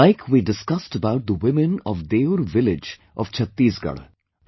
Like we discussed about the women of Deur village of Chhattisgarh